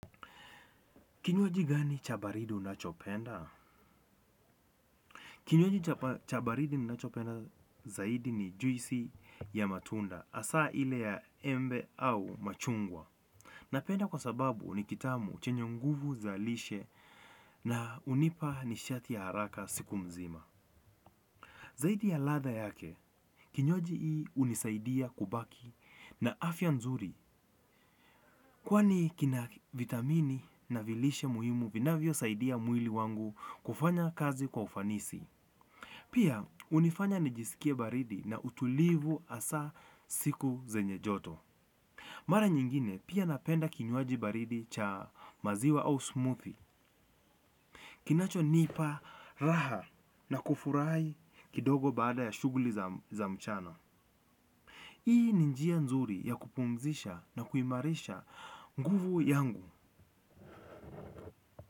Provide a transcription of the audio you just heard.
Kinywaji gani cha baridi unachopenda? Kinywaji cha baridi ninachopenda zaidi ni juisi ya matunda hasaa ile ya embe au machungwa. Napenda kwa sababu ni kitamu chenye nguvu za lishe na hunipa nishati ya haraka siku nzima. Zaidi ya ladha yake, kinywaji hunisaidia kubaki na afya nzuri. Kwani kina vitamini na vilishe muhimu vinavyo saidia mwili wangu kufanya kazi kwa ufanisi. Pia hunifanya nijisikie baridi na utulivu hasa siku zenye joto. Mara nyingine pia napenda kinywaji baridi cha maziwa au smoothie. Kinacho nipa raha na kufurahi kidogo baada ya shughuli za mchana. Hii ni njia nzuri ya kupumzisha na kuimarisha nguvu yangu.